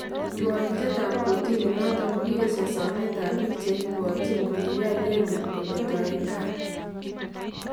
Kirwakinteet ab kootini noton kokiyesha someet ab biik chekibwontyin kokiyai leluut kemeto en kaar